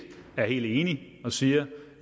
er helt enig og siger